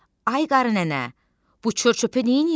Ay qarı nənə, bu çör-çöpü neyləyirsən?